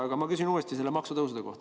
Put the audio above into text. Aga ma küsin uuesti maksutõusude kohta.